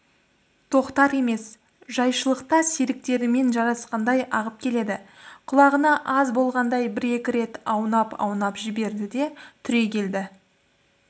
тоқтар емес жайшылықта серіктерімен жарысқандай ағып келеді құлағаны аз болғандай бір-екі рет аунап-аунап жіберді де түрегелді